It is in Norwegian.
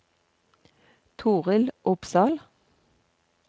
Torill Opsahl